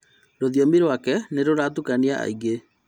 Rũthiomi rwake nĩrũratukania aingĩ